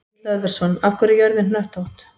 Egill Hlöðversson: Af hverju er jörðin hnöttótt?